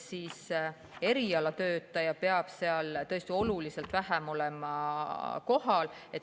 Erialatöötaja peab seal tõesti olema oluliselt vähem kohal.